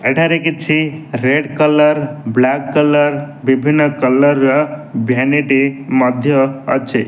ଏଠାରେ କିଛି red colour black colour ବିଭିନ୍ନ କଲର ର ଭ୍ୟାନୀଟ ମଧ୍ୟ ଅଛି।